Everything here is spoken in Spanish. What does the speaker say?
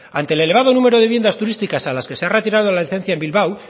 ante el elevado número de viviendas turísticas a las que se le ha retirado la licencia en bilbao